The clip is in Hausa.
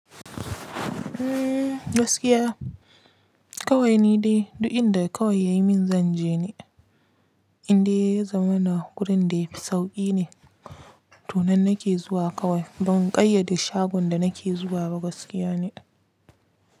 Umm gaskiya kawai ni dai duk inda kawai ya min zanje ne, inde zamana gurin da yafi sauƙi ne. To nan nake zuwa kawai ban ƙayyade shagon da nake zuwa ba gaskiya ne.